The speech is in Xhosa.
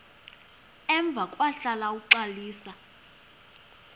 emva kwahlala uxalisa